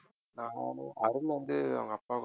அருண் வந்து அவங்க அப்பா கூ~